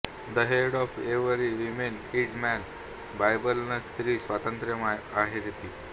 the head of every women is man Bible न स्त्री स्वातंत्र्यम् अर्हति